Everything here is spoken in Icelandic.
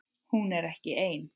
Hún er ekki ein.